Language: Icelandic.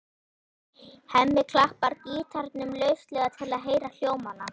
Hemmi klappar gítarnum lauslega til að heyra hljómana.